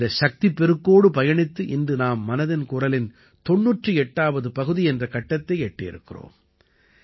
இந்த சக்திப் பெருக்கோடு பயணித்து இன்று நாம் மனதின் குரலின் 98ஆவது பகுதி என்ற கட்டத்தை எட்டியிருக்கிறோம்